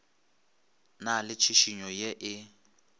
na le tšhišinyo ye e